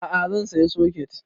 A'a zan saya soket